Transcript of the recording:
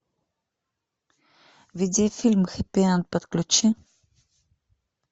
видеофильм хэппи энд подключи